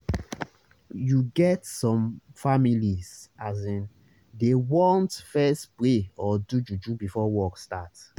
you get some families asin dey want fess pray or do juju before work start